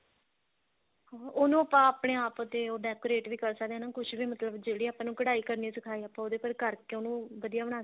ਉਹਨੂੰ ਆਪਾਂ ਆਪਣੇ ਆਪ ਤੇ decorate ਵੀ ਕਰ ਸਕਦੇ ਹਾਂ ਹਨਾ ਕੁੱਝ ਵੀ ਮਤਲਬ ਜਿਹੜੇ ਆਪਾਂ ਨੂੰ ਕਢਾਈ ਕਰਨੀ ਸਿਖਾਏ ਆਪਾਂ ਉਹਦੇ ਉੱਪਰ ਕਰਕੇ ਉਹਨੂੰ ਵਧੀਆ ਬਣਾ